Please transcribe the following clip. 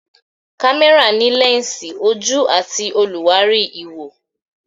Kámẹ́rà ní lẹ́ǹsì, ojú àti olùwárí ìwò.